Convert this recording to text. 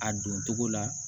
A don togo la